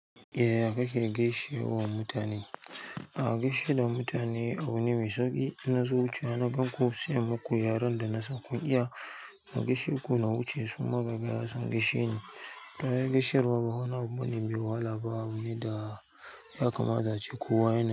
Eh aka ke gaishe wa mutane. A gaishe da mutane abu ne mai sauƙi. Ina zuwa na ganku, sai in muku yaren dana san kun iya. Iya na gaishe ko na wuce su, amma ya san gaishe ne. Ta yaya gaishewar ba wani abu ne mai wahala ba abu ne da ya kamata ace kowa yana yi.